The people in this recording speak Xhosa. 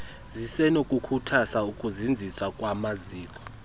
zisenokukhuthazwa ukuzinziswa kwamaziko